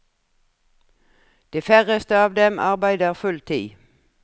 De færreste av dem arbeider full tid.